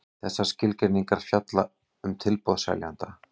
Þessar skilgreiningar fjalla um tilboð seljanda.